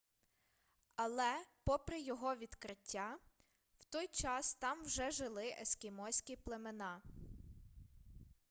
але попри його відкриття в той час там вже жили ескімоські племена